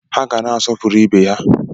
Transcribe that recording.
Ha ga na-asọpụrụ ibe ha.